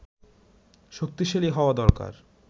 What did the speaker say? শক্তিশালী হওয়া দরকার